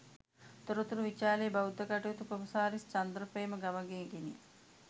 තොරතුරු විචා‍ලේ බෞද්ධ කටයුතු කොමසාරිස් චන්ද්‍රප්‍රේම ගමගේගෙනි